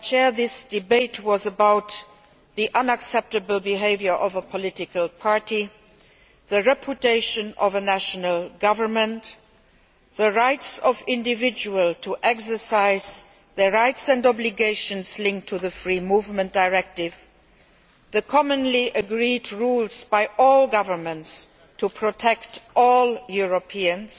This debate was about the unacceptable behaviour of a political party, the reputation of a national government, the rights of individuals to exercise their rights and obligations linked to the Free Movement Directive, the rules commonly agreed by all governments to protect all Europeans,